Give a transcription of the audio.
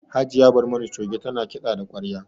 Hajiya Barmani Coge ta na kiɗa da ƙwarya